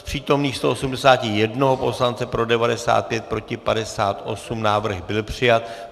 Z přítomných 181 poslance pro 95, proti 58, návrh byl přijat.